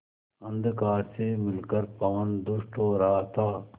अंधकार से मिलकर पवन दुष्ट हो रहा था